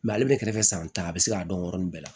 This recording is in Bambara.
ale bɛ kɛrɛfɛ san tan a bɛ se k'a dɔn yɔrɔnin bɛɛ la